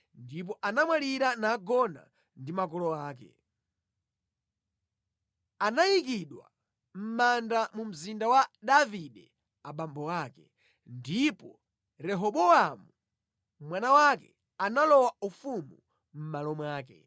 Ndipo anamwalira nagona ndi makolo ake. Anayikidwa mʼmanda mu mzinda wa Davide abambo ake. Ndipo Rehobowamu, mwana wake, analowa ufumu mʼmalo mwake.